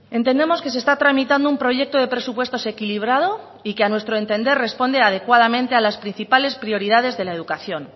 entendemos que se está tramitando un proyecto de presupuestos equilibrado y que a nuestro entender responde adecuadamente a las principales prioridades de la educación